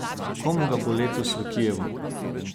Komu ga bo letos v Kijevu?